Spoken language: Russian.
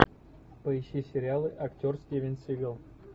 поищи сериалы актер стивен сигал